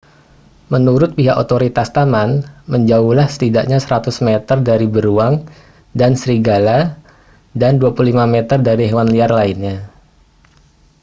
menurut pihak otoritas taman menjauhlah setidaknya 100 meter dari beruang dan serigala dan 25 meter dari hewan liar lainnya